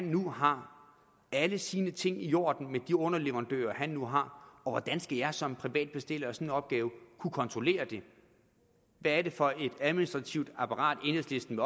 nu har alle sine ting i orden med de underleverandører han nu har hvordan skal jeg som privat bestiller af sådan en opgave kunne kontrollere det hvad er det for et administrativt apparat enhedslisten